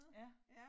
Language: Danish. Ja